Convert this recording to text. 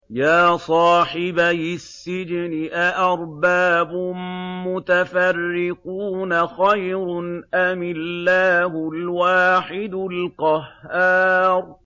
يَا صَاحِبَيِ السِّجْنِ أَأَرْبَابٌ مُّتَفَرِّقُونَ خَيْرٌ أَمِ اللَّهُ الْوَاحِدُ الْقَهَّارُ